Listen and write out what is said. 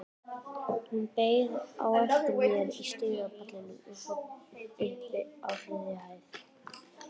Hún beið eftir mér á stigapallinum uppi á þriðju hæð.